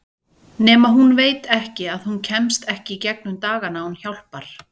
Nema hún veit að hún kemst ekki í gegnum dagana án hjálpar.